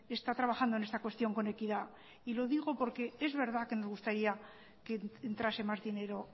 está trabajando en esta cuestión con equidad y lo digo porque es verdad que nos gustaría que entrase más dinero